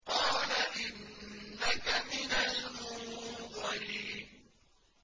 قَالَ إِنَّكَ مِنَ الْمُنظَرِينَ